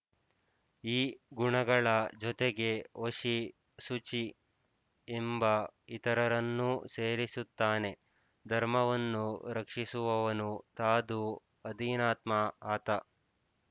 ಈ ಗುಣಗಳ ಜೊತೆಗೆ ವಶಿ ಶುಚಿಃ ಎಂಬ ಇತರರನ್ನೂ ಸೇರಿಸುತ್ತಾನೆ ಧರ್ಮವನ್ನು ರಕ್ಷಿಸುವವನು ಸಾಧು ಅಧೀನಾತ್ಮ ಆತ